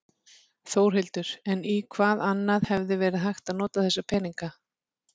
Þórhildur: En í hvað annað hefði verið hægt að nota þessa peninga?